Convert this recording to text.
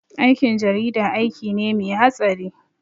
Aikin jarida aiki ne mai hatsari